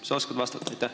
Kas sa oskad vastata?